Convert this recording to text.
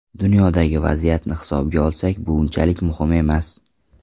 Dunyodagi vaziyatni hisobga olsak, bu unchalik muhimi emas.